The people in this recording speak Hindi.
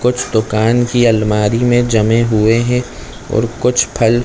कुछ दुकान की आलमारी में जमे हुए है और कुछ फल--